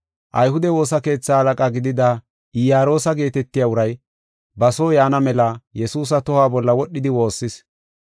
Ayhude woosa keetha halaqa gidida Iyaroosa geetetiya uray ba soo yaana mela Yesuusa tohuwa bolla wodhidi woossis.